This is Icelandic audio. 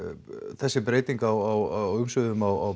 þessi breyting á umsvifum á